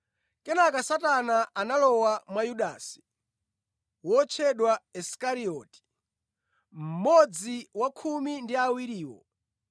Kenaka Satana analowa mwa Yudasi, wotchedwa Isikarioti, mmodzi wa khumi ndi a iwiriwo.